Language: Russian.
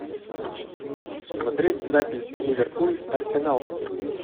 смотреть запись ливерпуль арсенал